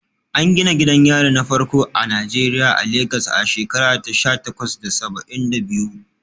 An gina gidan yari na farko a Najeriya a Legas a shekara ta sha takwas da saba'in da biyu.